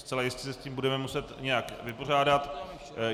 Zcela jistě se s tím budeme muset nějak vypořádat.